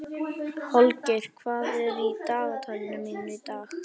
Holgeir, hvað er í dagatalinu mínu í dag?